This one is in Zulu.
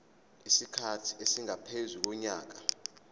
isikhathi esingaphezu konyaka